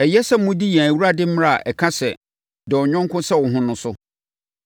Ɛyɛ sɛ modi yɛn Awurade mmara a ɛka sɛ, “Dɔ wo yɔnko sɛ wo ho” no so.